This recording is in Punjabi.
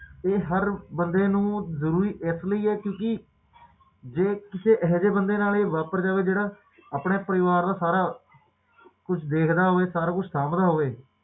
ਤੇ ਹਰ ਬੰਦੇ ਨੂੰ ਜ਼ਰੂਰੀ ਇਸ ਲਈ ਹੈ ਕਿਉਕਿ ਜੇ ਕਿਸੇ ਅਹਿਜੇ ਬੰਦੇ ਨਾਲ ਇਹ ਵਾਪਰ ਜਾਵੇ ਜਿਹੜਾ ਆਪਣੇ ਪਰਿਵਾਰ ਦਾ ਸਾਰਾ ਕੁੱਛ ਦੇਖਦਾ ਹੋਵੇ ਸਾਰਾ ਕੁੱਛ ਸਾਂਭਦਾ ਹੋਵੇ